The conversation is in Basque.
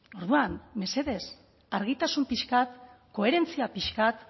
orduan mesedez argitasun pixka bat koherentzia pixka bat